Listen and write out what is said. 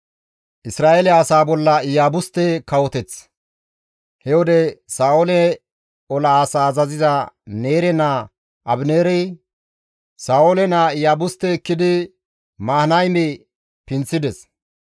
He wode Sa7oole ola asaa azaziza Neere naa Abineeri Sa7oole naa Iyaabuste ekkidi Mahanayme pinththides.